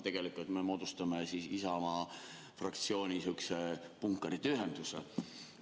Tegelikult me moodustame siin Isamaa fraktsiooni punkarite ühenduse.